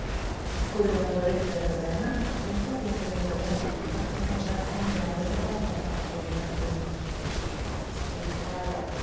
ਤੇ ਕੁੜੀਆਂ ਵੱਲੋਂ ਰਿਸ਼ਤੇ ਵੱਲੋਂ ਕਿਹਾ ਨਾ, ਕਹਿੰਦੀ ਸਾਡੀਆਂ ਕੁੜੀਆਂ ਕਾੜੀਆਂ ਸਾਡੀ ਕੁੜੀਆਂ ਦੀ